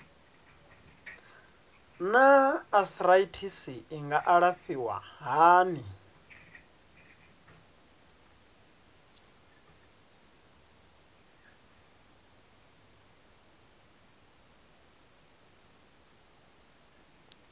naa arthritis i nga alafhiwa hani